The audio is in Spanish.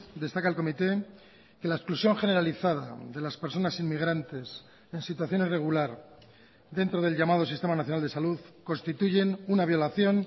destaca el comité que la exclusión generalizada de las personas inmigrantes en situación irregular dentro del llamado sistema nacional de salud constituyen una violación